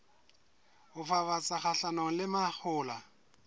ho fafatsa kgahlanong le mahola